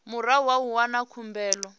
murahu ha u wana khumbelo